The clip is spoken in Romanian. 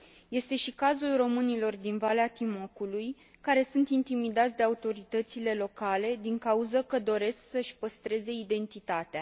Este și cazul românilor din Valea Timocului, care sunt intimidați de autoritățile locale din cauză că doresc să își păstreze identitatea.